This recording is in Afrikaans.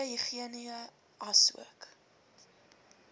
goeie higïene asook